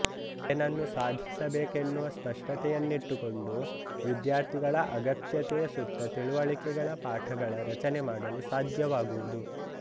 ಏನನ್ನು ಸಾಧಿಸಬೇಕೆನ್ನುವ ಸ್ಪಷ್ಟತೆಯನ್ನಿಟ್ಟುಕೊಂಡು ವಿದ್ಯಾರ್ಥಿಗಳ ಅಗತ್ಯತೆಯ ಸುತ್ತ ತಿಳುವಳಿಕೆಗಳ ಪಾಠಗಳ ರಚನೆ ಮಾಡಲು ಸಾಧ್ಯವಾಗುವುದು